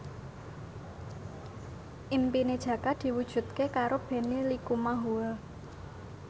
impine Jaka diwujudke karo Benny Likumahua